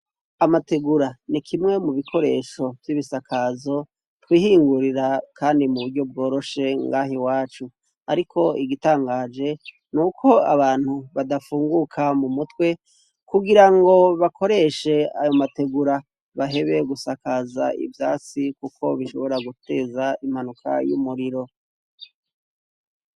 Amategura ni kimwe mu bikoresho vy'ibisakazo twihingurira, kandi mu buryo bworoshe ngaha i wacu, ariko igitangaje ni uko abantu badafunguka mu mutwe kugira ngo bakoreshe ayo mategura bahebe gusakaza ivyasi, kuko bishobora guteza ra imanuka y'umuriro.